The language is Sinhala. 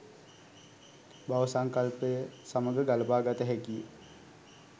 භව සංකල්පය සමඟ ගළපා ගත හැකි ය.